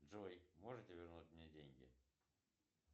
джой можете вернуть мне деньги